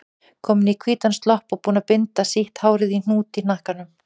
Komin í hvítan slopp og búin að binda sítt hárið í hnút í hnakkanum.